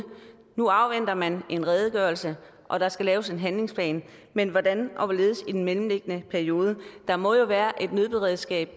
nu afventer man en redegørelse og der skal laves en handlingsplan men hvordan og hvorledes i den mellemliggende periode der må jo være et nødberedskab